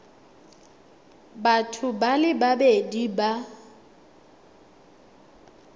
batho ba le babedi ba